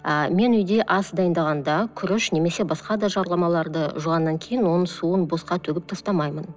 а мен үйде ас дайындағанда күріш немесе басқа да жуғаннан кейін оның суын босқа төгіп тастамаймын